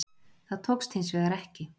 Það tókst hins vegar ekki